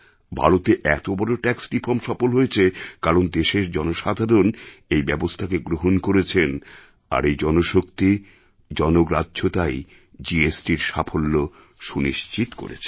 ভারতে এত বড় ট্যাক্স রিফর্ম সফল হয়েছে কারণ দেশের জনসাধারণ এই ব্যবস্থাকে গ্রহণ করেছেন আর এই জনশক্তি জনগ্রাহ্যতাই জিএসটির সাফল্য সুনিশ্চিত করেছে